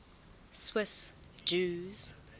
swiss jews